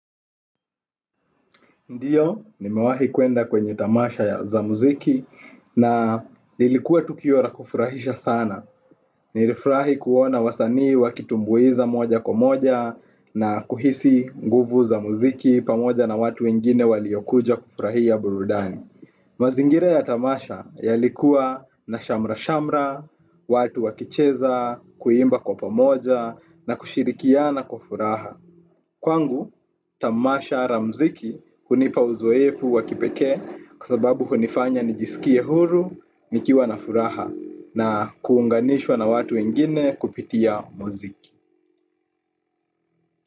Ndiyo, nimewahi kuenda kwenye tamasha ya za muziki na lilikuwa tukio la kufurahisha sana. Nilifrahi kuona wasanii wakitumbuiza moja kwa moja nakuhisi nguvu za muziki pamoja na watu wengine waliokuja kufurahia burudani. Mazingira ya tamasha yalikuwa na shamra-shamra, watu wakicheza, kuimba kwa pamoja na kushirikiana kwa furaha. Kwangu, tamasha ra mziki hunipa uzoefu wakipeke kwa sababu hunifanya nijisikie huru, nikiwa na furaha na kuunganishwa na watu wengine kupitia muziki.